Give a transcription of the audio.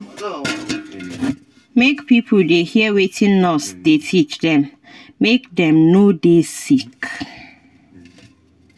make pipo dey hear wetin nurse dey teach dem make dem no dey sick.